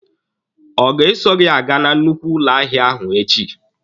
Ọ ga-eso gị aga na nnukwu ụlọ ahịa ahụ echi?